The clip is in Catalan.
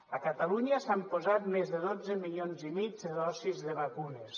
a catalunya s’han posat més de dotze milions i mig de dosis de vacunes